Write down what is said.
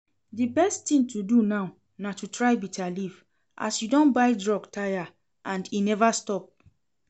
The best thing to do now na to try bitterleaf as you don buy drug tire and e never stop